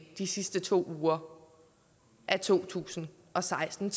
de sidste to uger af to tusind og seksten